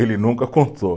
Ele nunca contou.